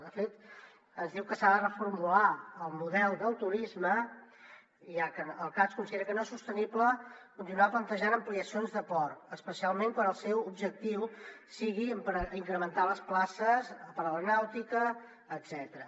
de fet ens diu que s’ha de reformular el model del turisme ja que el cads considera que no és sostenible continuar plantejant ampliacions de port especialment quan el seu objectiu sigui incrementar les places per a la nàutica etcètera